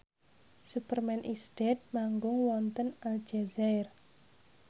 Superman is Dead manggung wonten Aljazair